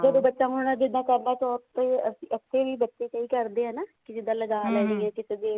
ਜਦੋਂ ਬੱਚਾ ਹੁਣ ਜਿੱਦਾਂ ਕਰਵਾ ਚੌਥ ਤੇ ਇੱਥੇ ਵੀ ਬੱਚੇ ਕਈ ਕਰਦੇ ਆ ਨਾ ਜਿੱਦਾਂ ਹੈ ਨਾ